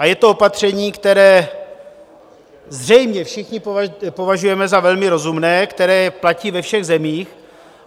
A je to opatření, které zřejmě všichni považujeme za velmi rozumné, které platí ve všech zemích.